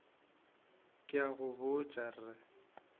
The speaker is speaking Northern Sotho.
ke a go botša re